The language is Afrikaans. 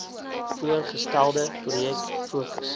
voorgestelde projek fokus